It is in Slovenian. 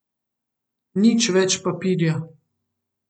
Nič več papirja.